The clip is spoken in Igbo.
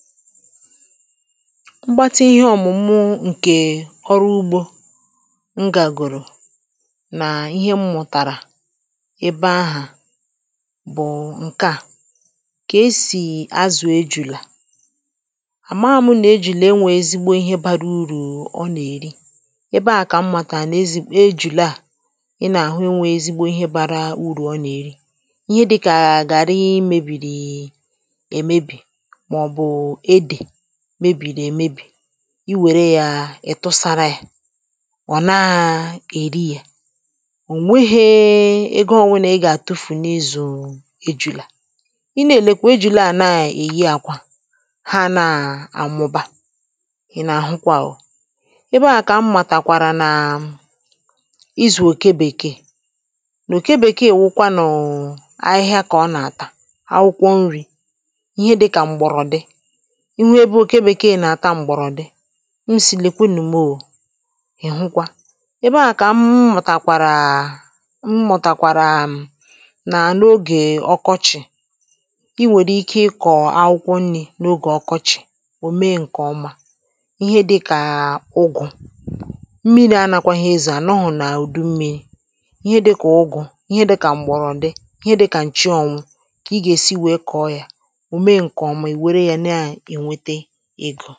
mgbatị ihe ọ̀mụ̀mụ̀ nke ọrụ ugbȯ m gàgòrò nà ihe m mụ̀tàrà ebe ahụ̀ bụ̀ ǹkè a kà esì azụ̀ ejùlù à àma àmụ nà ejùle e nwèrè ezigbo ihe bara urù ọ nà-èri ebe ahụ̀ kà m màkà nà-ezigbo ejùle à ị nà-àhụ e nwèrè ezigbo ihe bara urù ọ nà-èri ihe dị̇kà àgàrị i mėbìrì èmebì mebìrì èmebì i wère ya ị̀tụsara ya ọ̀ naa èri ya ò nweghė ego ọnwụnà ị gà-àtụfù n’izù eju̇là i nà-èlekwù eju̇là a nà-èyi àkwà ha nà-àmụba ị̀ nà àhụkwa o ebe ahụ̀ kà m màtàkwàrà nà ịzụ̀ òke bèkeè nà òke bèkeè ị̀wụkwa nụ̀ ahịhịa kà ọ nà-àtà akwụkwọ nri ihe dịkà m̀gbọ̀rọ̀ dị ihe dị kà m̀bọ̀rọ̀ dị ihe dị kà ǹchiọnwụ kà ị gà-èsi wèe kọọ ya ò mee ǹkèọma ì were yȧ nà-ème ǹkèọma gà-àkpọ nri̇ n’ogè ọkọchị̀ ò mee ǹkèọma ihe dịkà ụgụ̀ mmiri̇ anȧkwà ihe ndị à nà-àrụ n’ùdu mmi̇ri̇ ihe dịkà ụgụ̀ ihe dị kà m̀bọ̀rọ̀ dị ihe dịkà ǹchiọnwụ kà ị gà-èsi wèe kọọ yȧ ǹkè wụ̀ ihe dị̀ onye ọ̀zọ nwẹ̀dẹ ịgụ̇